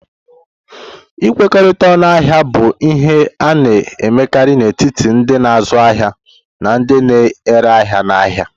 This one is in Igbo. Ịkwerite ọñu ahia bụ ihe a na-emekarị n'etiti ndị na-azụ ahịa na ndị na-ere ahịa n'ahịa.